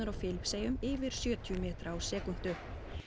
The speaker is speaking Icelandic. á Filippseyjum yfir sjötíu metra á sekúndu